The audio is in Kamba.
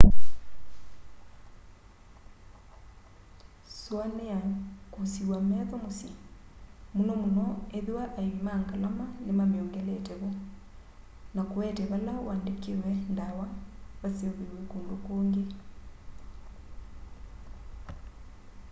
suania kwusiiw'a metho musyi muno muno ethiwa aivi ma ngalama nimamiongelete vo na kuete vala uandikiwe ndawa vaseuviw'e kundu kungi